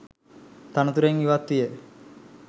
තනතුරෙන් ඉවත් විය.